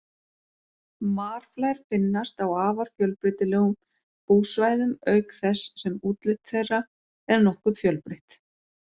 Marflær finnast á afar fjölbreytilegum búsvæðum auk þess sem útlit þeirra er nokkuð fjölbreytt.